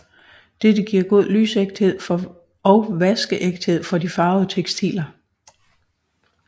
Dette giver god lysægthed og vaskeægthed for de farvede tekstiler